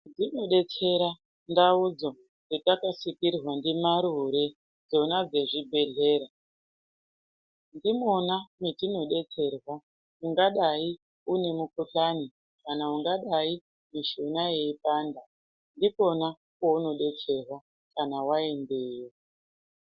Dzinobetsera ndaudzo dzatakasikirwa ndimarure dzona dzezvibdedhlera. Ndimona metinobetserwa ungadai une mukuhlani kana ungadai une mishuna yeipanda ndipona paunobetserwa kana waendeyo.